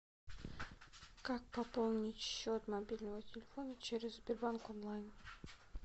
как пополнить счет мобильного телефона через сбербанк онлайн